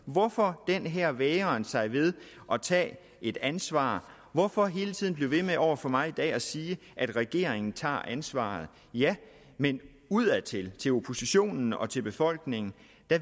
hvorfor den her vægren sig ved at tage et ansvar hvorfor hele tiden blive ved med over for mig i dag at sige at regeringen tager ansvaret ja men udadtil til oppositionen og til befolkningen